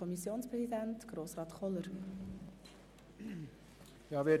Kommissionspräsident der GSoK.